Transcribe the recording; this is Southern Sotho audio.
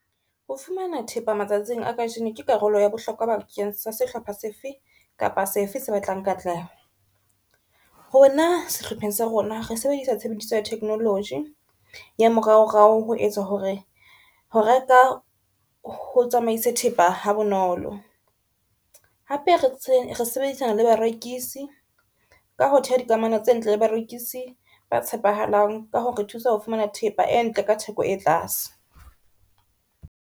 Ho fumana thepa matsatsing a kajeno ke karolo ya bohlokwa bakeng sa sehlopha sefe kapa sefe se batlang katleho. Rona sehlopheng sa rona re sebedisa tshebediso ya technology ya moraorao ho etsa hore ho reka, ho tsamaise thepa ha bonolo. Hape re sebedisana le barekisi ka ho theha dikamano tse ntle le barekisi ba tshepahalang, ka ho re thusa ho fumana thepa e ntle ka theko e tlase.